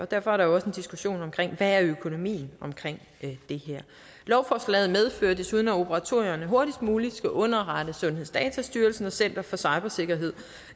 derfor er der jo også en diskussion om hvad økonomien er i det her lovforslaget medfører desuden at operatørerne hurtigst muligt skal underrette sundhedsdatastyrelsen og center for cybersikkerhed